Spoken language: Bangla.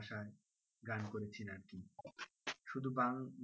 ভাষায় গান করেছেন আরকি শুধু বাংলা,